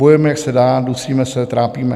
Bojujeme, jak se dá, dusíme se, trápíme."